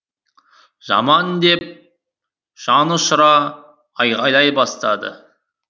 жаман деп жанұшыра айғайлай бастады